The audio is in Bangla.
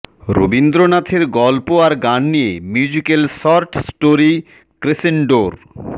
রবীন্দ্রনাথের গল্প আর গান নিয়ে মিউজিকাল শর্ট স্টোরি ক্রেসেন্ডোর